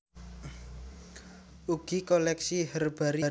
Ugi koleksi herbarium ingkang ngenggeni sebagéyan gedung ing Jl